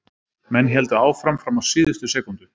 Menn héldu áfram fram á síðustu sekúndu.